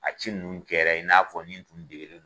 A ci nunnu kɛra i n'a fɔ nin tun degelen do.